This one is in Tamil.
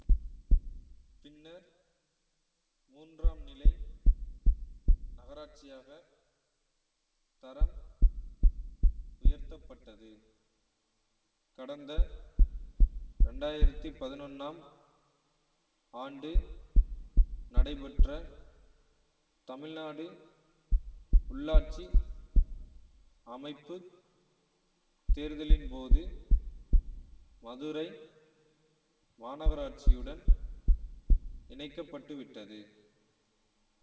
பின்னர் மூன்றாம் நிலை நகராட்சியாகத் தரம் உயர்த்தப்பட்டது கடந்த இரண்டு ஆயிரத்தி பதினொன்னாம் ஆண்டு நடைபெற்ற தமிழ்நாடு உள்ளாட்சி அமைப்பு தேர்தலின் போது மதுரை மாநகராட்சியுடன் இணைக்க பட்டு விட்டது